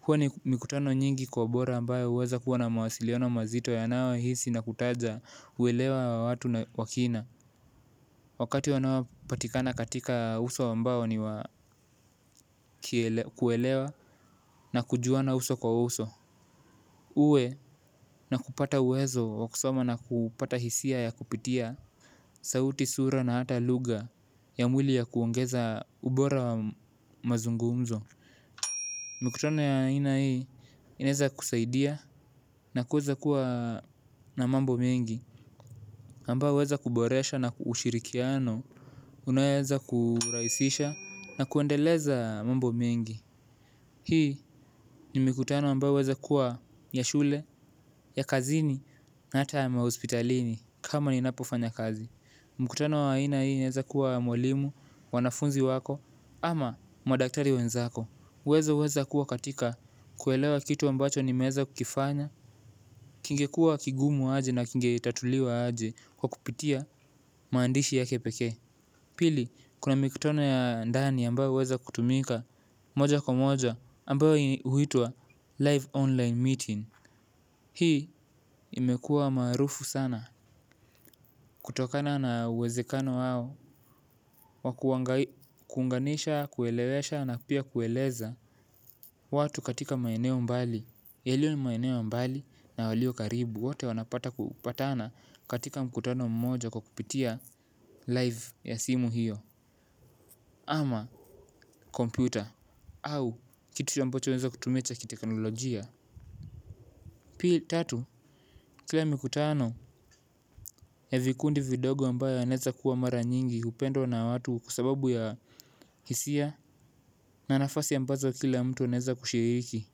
huwa ni mikutano nyingi kwa bora ambayo huweza kuwa na mawasiliano mazito yanaohisi na kutaja uelewa wa watu wa kina. Wakati wanaopatikana katika uso ambao ni wa kuelewa na kujuana uso kwa uso uwe na kupata uwezo wa kusoma na kupata hisia ya kupitia sauti sura na hata lugha ya mwili ya kuongeza ubora wa mazungumzo. Mikutano ya aina hii inaeza kusaidia na kuweza kuwa na mambo mengi. Ambao huweza kuboresha ushirikiano, unaoweza kurahisisha na kuendeleza mambo mengi. Hii ni mikutano ambao huweza kuwa ya shule, ya kazini, na hata ya mahospitalini kama ninapofanya kazi. Mkutano wa aina hii inaweza kuwa ya mwalimu, wanafunzi wako, ama madaktari wenzako. Uwezo huweza kuwa katika kuelewa kitu ambacho nimeeza kukifanya, kingekuwa kigumu aje na kingetatuliwa aje kwa kupitia maandishi yake pekee. Pili, kuna mikutano ya ndani ambayo huweza kutumika moja kwa moja ambayo huitwa live online meeting. Hii imekua marufu sana. Kutokana na uwezekano wao, wa kuunganisha, kuelewesha na pia kueleza watu katika maeneo mbali yaliyo ni maeneo mbali na walio karibu wote wanapata kupatana katika mkutano mmoja kwa kupitia live ya simu hiyo ama kompyuta au kitu ambacho unaweza kutumia cha kiteknolojia. Pii tatu kila mikutano ya vikundi vidogo ambayo yanaeza kuwa mara nyingi hupendwa na watu kwa sababu ya hisia na nafasi ambazo kila mtu anaeza kushiriki.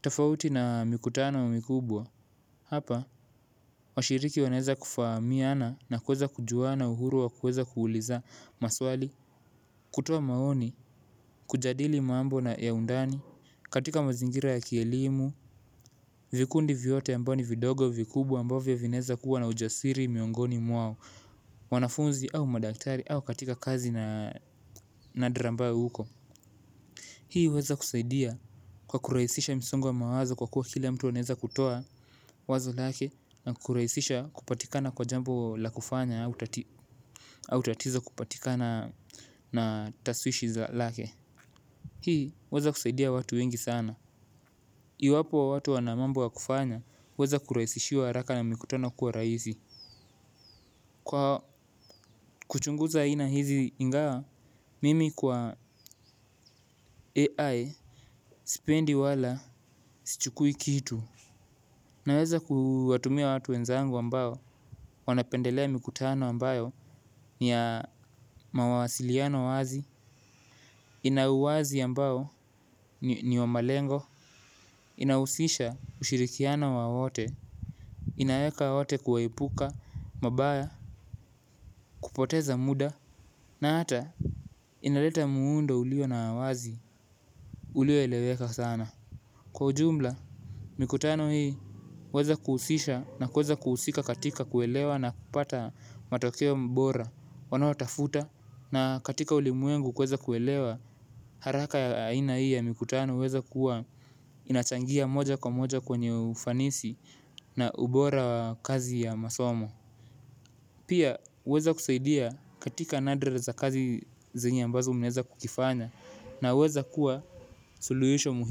Tofauti na mikutano mikubwa hapa, washiriki wanaeza kufahamiana na kuweza kujuana uhuru wa kuweza kuuliza maswali. Kutoa maoni, kujadili mambo ya undani katika mazingira ya kielimu, vikundi vyote ambao ni vidogo vikubwa ambavyo vinaeza kuwa na ujasiri miongoni mwao. Wanafunzi au madaktari au katika kazi nadra ambayo uko. Hii huweza kusaidia kwa kurahisisha msongo wa mawazo wazo kwa kuwa kila mtu anaeza kutoa wazo lake na kurahisisha kupatikana kwa jambo la kufanya au tatizo kupatikana na taswishi za lake hii huweza kusaidia watu wengi sana iwapo watu wana mambo ya kufanya huweza kurahisishiwa haraka na mikutano kuwa rahisi kwa kuchunguza aina hizi ingawa mimi kwa AI sipendi wala sichukui kitu naweza kuwatumia watu wenzangu ambao wanapendelea mikutano ambayo ni ya mawasiliano wazi. Ina uwazi ambao ni wa malengo. Inahusisha ushirikiano wa wote. Inaweka wote kuwaepuka. Mabaya kupoteza muda. Na hata inaleta muundo ulio na wazi ulioeleweka sana. Kwa jumla, mikutano hii huweza kuhusisha na kuweza kuhusika katika kuelewa na kupata matokeo bora wanaotafuta. Na katika ulimwengu kuweza kuelewa haraka aina hii ya mikutano huweza kuwa inachangia moja kwa moja kwenye ufanisi na ubora kazi ya masomo. Pia huweza kusaidia katika nadre za kazi zenye ambazo mnaeza kukifanya na huweza kuwa suluhisho muhimu.